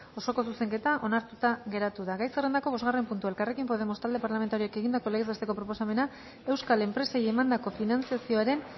osoko zuzenketa onartuta geratu da gai zerrendako bosgarren puntua elkarrekin podemos talde parlamentarioak egindako legez besteko proposamena euskal enpresei emandako finantzazioaren